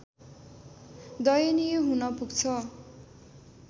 दयनीय हुन पुग्छ